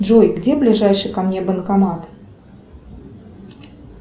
джой где ближайший ко мне банкомат